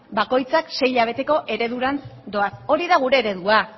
bakoitzak sei hilabeteko eredurantz doaz hori da gure eredua